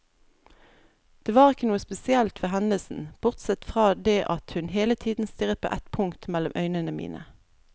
Det var ikke noe spesielt ved hendelsen, bortsett fra det at hun hele tiden stirret på et punkt mellom øynene mine.